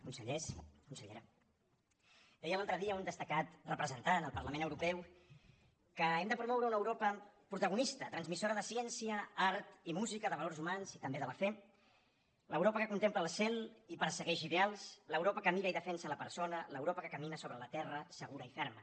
consellers consellera deia l’altre dia un destacat representant al parlament europeu que hem de promoure una europa protagonista transmissora de ciència art i música de valors humans i també de la fe l’europa que contempla el cel i persegueix ideals l’europa que mira i defensa la persona l’europa que camina sobre la terra segura i ferma